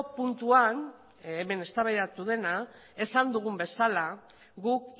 puntuan hemen eztabaidatu dena esan dugun bezala guk